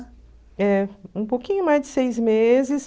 É, um pouquinho mais de seis meses.